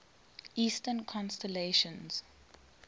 eastern constellations